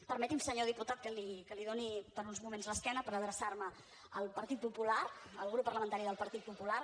permeti’m senyor diputat que li doni per uns moments l’esquena per adreçar me al partit popular al grup parlamentari del grup popular